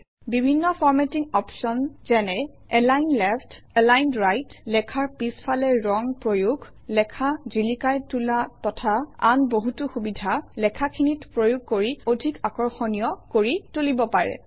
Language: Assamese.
বিভিন্ন ফৰ্মেটিং অপশ্যন যেনে এলাইন লেফ্ট এলাইন ৰাইট লেখাৰ পিছফালে ৰং প্ৰয়োগ লেখা জিলিকাই তোলা তথা আন বহুতো সুবিধা লিখাখিনিত প্ৰয়োগ কৰি অধিক আকৰ্ষণীয় কৰি তুলিব পাৰি